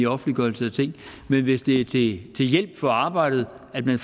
offentliggørelse af ting men hvis det er til hjælp for arbejdet at man